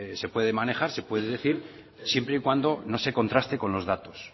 se puede manejar se puede decir siempre y cuando no se contraste con los datos